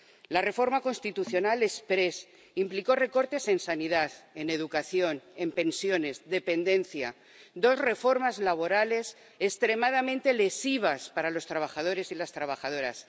La reforma constitucional exprés implicó recortes en sanidad, en educación, en pensiones, en dependencia y dos reformas laborales extremadamente lesivas para los trabajadores y las trabajadoras.